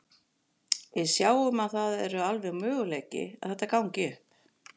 Við sjáum að það eru alveg möguleiki að þetta gangi upp.